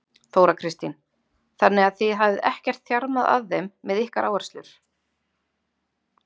Þóra Kristín: Þannig að þið hafið ekkert þjarmað að þeim með ykkar áherslur?